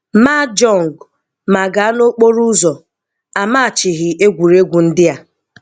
mahjong mà gàá n'ókpóróụ́zọ̀, à máchìghì égwùrégwu ndí à